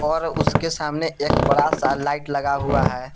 और उसके सामने एक बड़ा सा लाइट लगा हुआ है।